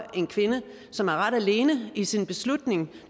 en kvinde som er ret alene i sin beslutning